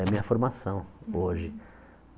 É a minha formação hoje.